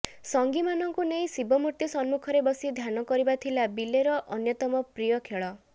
ସଙ୍ଗୀମାନଙ୍କୁ ନେଇ ଶିବମୂର୍ତ୍ତି ସମ୍ମୁଖରେ ବସି ଧ୍ୟାନ କରିବା ଥିଲା ବିଲେର ଅନ୍ୟତମ ପ୍ରିୟ ଖେଳ